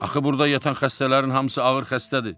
Axı burda yatan xəstələrin hamısı ağır xəstədir.